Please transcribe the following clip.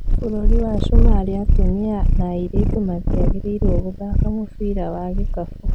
Bũrũri wa Sumarĩ atumia na airĩtu matiagĩrĩiruo gũthaka mũbira wa gĩkabũ